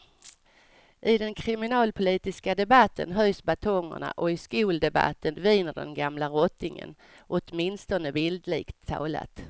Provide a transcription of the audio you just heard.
I den kriminalpolitiska debatten höjs batongerna och i skoldebatten viner den gamla rottingen, åtminstone bildligt talat.